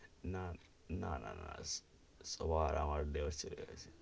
না, না, না না সবার আমার bachelor ,